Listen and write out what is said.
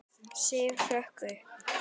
Sif hrökk upp.